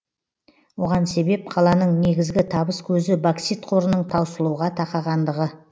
оған себеп қаланың негізгі табыс көзі боксит қорының таусылуға тақағандығы